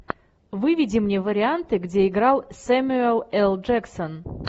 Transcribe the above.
выведи мне варианты где играл сэмюэл л джексон